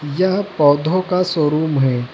यह पौधों का शोरूम है।